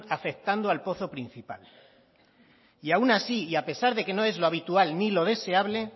afectando al pozo principal y aún así y a pesar que no es lo habitual ni lo deseable